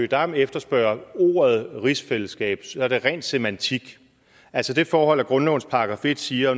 dam efterspørger ordet rigsfællesskab er det ren semantik altså det forhold at grundlovens § en siger